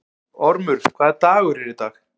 Ormur, hvaða dagur er í dag?